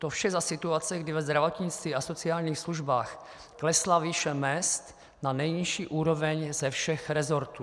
To vše za situace, kdy ve zdravotnictví a sociálních službách klesla výše mezd na nejnižší úroveň ze všech resortů.